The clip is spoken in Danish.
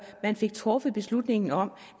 man fik truffet beslutningen om